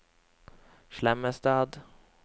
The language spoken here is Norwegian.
Slemmestad